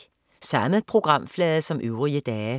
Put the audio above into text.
Samme programflade som øvrige dage